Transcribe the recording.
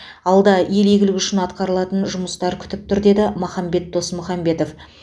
алда ел игілігі үшін атқаратын көп жұмыс күтіп тұр деді махамбет досмұхамбетов